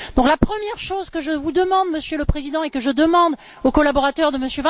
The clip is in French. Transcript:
La première chose que je vous demande, Monsieur le Président, et que je demande aux collaborateurs de M.